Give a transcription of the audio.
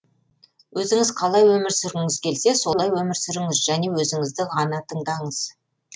өзіңіз қалай өмір сүргіңіз келсе солай өмір сүріңіз және өзіңізді ғана тыңдаңыз